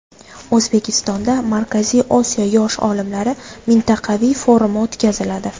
O‘zbekistonda Markaziy Osiyo yosh olimlari mintaqaviy forumi o‘tkaziladi.